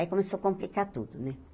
Aí começou a complicar tudo, né?